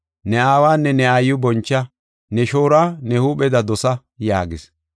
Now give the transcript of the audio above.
ne aawanne ne aayiw boncha, ne shooruwa ne huupheda dosa” yaagis.